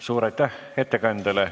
Suur aitäh ettekandjale!